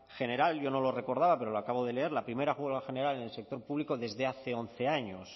general yo no lo recordaba pero lo acabo de leer la primera huelga general en el sector público desde hace once años